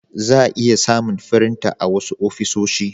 za'a iya samun firinta a wasu ofisoshi.